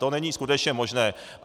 To není skutečně možné.